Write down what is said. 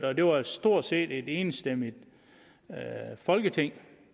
og det var stort set et enstemmigt folketing